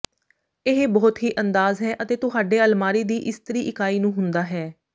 ਇਹ ਬਹੁਤ ਹੀ ਅੰਦਾਜ਼ ਹੈ ਅਤੇ ਤੁਹਾਡੇ ਅਲਮਾਰੀ ਦੀ ਇਸਤਰੀ ਇਕਾਈ ਨੂੰ ਹੁੰਦਾ ਹੈ